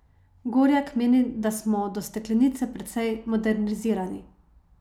Gorjak meni, da smo do steklenice precej modernizirani.